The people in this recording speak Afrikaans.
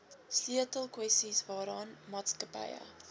sleutelkwessies waaraan maatskappye